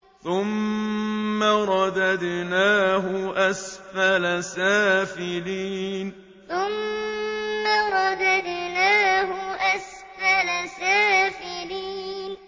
ثُمَّ رَدَدْنَاهُ أَسْفَلَ سَافِلِينَ ثُمَّ رَدَدْنَاهُ أَسْفَلَ سَافِلِينَ